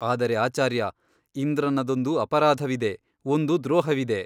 ಆದರೆ ಆಚಾರ್ಯ ಇಂದ್ರನದೊಂದು ಅಪರಾಧವಿದೆ ಒಂದು ದ್ರೋಹವಿದೆ.